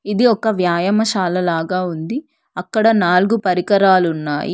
ఇది ఒక వ్యాయామశాల లాగా ఉంది అక్కడ నాలుగు పరికరాలున్నాయి.